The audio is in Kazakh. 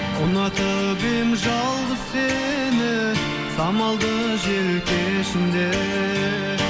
ұнатып едім жалғыз сені самалды жел кешінде